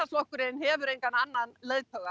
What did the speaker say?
flokkurinn hefur engan annan leiðtoga